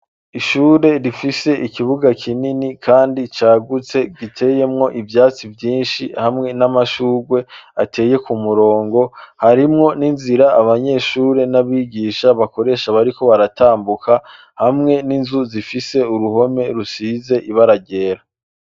Ishure rifise ikibuga kinini kandi cagutse giteyemwo ivyatsi vyinshi hamwe n'amashugwe ateye ku murongo harimwo n'inzira abanyeshure n'abigisha bakoresha bariko baratambuka hamwe n'inzu zifise uruhome rusize ibara ryera.